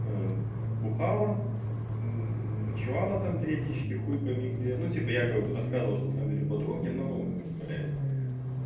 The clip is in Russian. бухала ночевала там периодически хуй пойми где ну типа якобы бы рассказывала что на самом деле у подруги но блять